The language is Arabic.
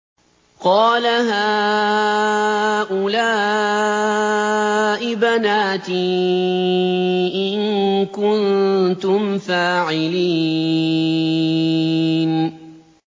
قَالَ هَٰؤُلَاءِ بَنَاتِي إِن كُنتُمْ فَاعِلِينَ